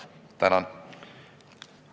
Tänan!